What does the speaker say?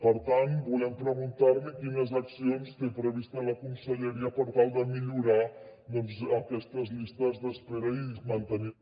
per tant volem preguntar li quines accions té previstes la conselleria per tal de millorar aquestes llistes d’espera i mantenir